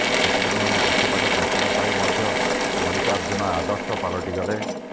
ସେତିକି ନୁହେଁ ଆଖପାଖ ଚାଷୀଙ୍କ ପାଇଁ ମଧ୍ୟ ମଲ୍ଲିକାର୍ଜ୍ଜୁନ ଆଦର୍ଶ ପାଲଟିଗଲେ